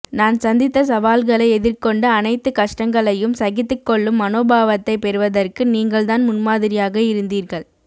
நான் சந்தித்த சவால்களை எதிர்கொண்டு அனைத்து கஷ்டங்களையும் சகித்துக் கொள்ளும் மனோபாவத்தை பெறுவதற்கு நீங்கள் தான் முன்மாதிரியாக இருந்தீர்கள்